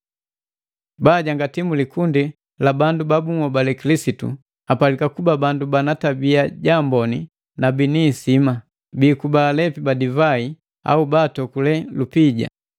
Baajangati mu likundi lebunhobale Kilisitu apalika kuba bandu bana tabiya jaamboni na bini ihisima; bikuba alepi ba divai au batokule lupija,